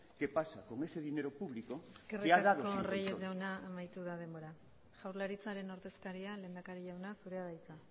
que pasa con ese dinero público eskerrik asko reyes jauna amaitu da denbora jaurlaritzaren ordezkaria lehendakari jauna zurea da hitza